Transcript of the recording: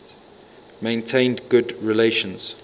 maintained good relations